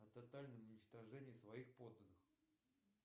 о тотальном уничтожении своих подданных